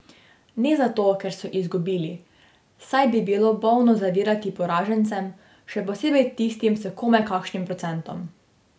Ne zato, ker so izgubili, saj bi bilo bolno zavidati poražencem, še posebej tistim s komaj kakšnim procentom.